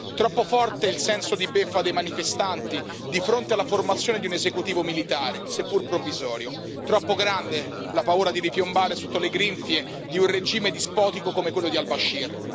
Troppo forte il senso di beffa dei manifestanti di fronte alla formazione di un esecutivo militare, seppur provvisorio. Troppo grande la paura di ripiombare sotto le grinfie di un regime dispotico come quello di al Bashir.